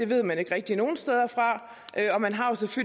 ved man ikke rigtig nogen steder fra og man har